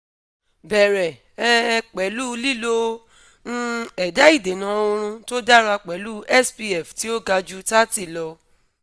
bẹrẹ um pẹlu lilo um ẹda idena oorun to dara pẹlu spf ti o ga ju 30 lọ